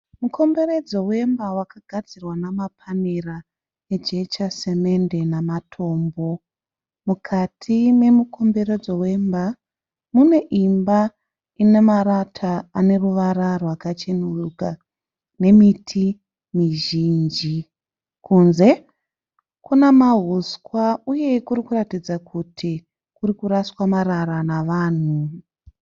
Mukomberedzo wemba wakagadzirwa nemapanera, nejecha semende nematombo. Mukati memukomberedzo wemba, mune imba inemarata aneruvara rwakacheneruka nemiti mizhinji. Kunze kune mauswa uye kurikuratidza kuti kurikuraswa marara nevanhu.